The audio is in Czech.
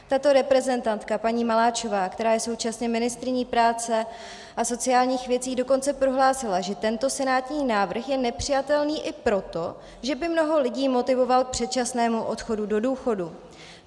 Tato reprezentantka paní Maláčová, která je současně ministryní práce a sociálních věcí, dokonce prohlásila, že tento senátní návrh je nepřijatelný i proto, že by mnoho lidí motivoval k předčasnému odchodu do důchodu.